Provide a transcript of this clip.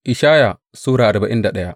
Ishaya Sura arba'in da daya